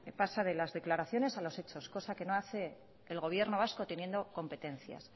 pasa de las declaraciones a los hechos cosa que no hace el gobierno vasco teniendo competencias